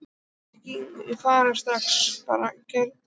Nei, ekki fara strax bað Gerður.